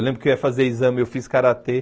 Eu lembro que eu ia fazer exame, eu fiz Karatê.